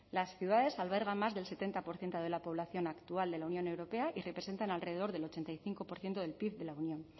las ciudades albergan más del setenta por ciento de la población actual de la unión europea y representan alrededor del ochenta y cinco por ciento del pib de la unión